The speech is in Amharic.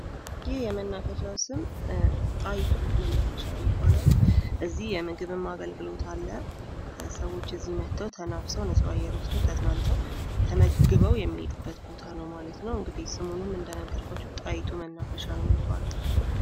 ይህ የመናፈሻ ስም ጣዪቱ ይባላል። ከዚህ የምግብም አገልግሎት አለ። ሰውች እዚህ መጠው ተናፍሰው ነጻ አየር ወስደው ተዝናንተው ተመግበው የሚሄዱበት ቦታ ነው ማለት ነው። እንግዲህ ስሙንም እንደነገርኳችሁ ጣይቱ መናፈሻ ነው የሚባለው።